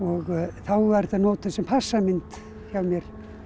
þá var þetta notuð sem passamynd hjá mér